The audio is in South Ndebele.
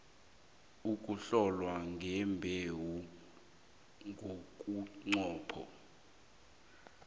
ukuhlolwa kwembewu ngomnqopho